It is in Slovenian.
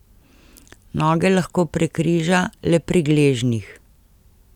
Noge lahko prekriža le pri gležnjih.